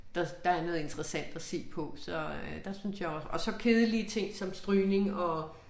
Der der er noget interessant at se på så øh der synes jeg også og så kedelige ting som strygning og